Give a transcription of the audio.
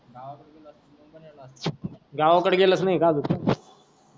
गावकड गेलाच नाही का अजून पण,